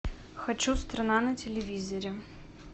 хочу страна на телевизоре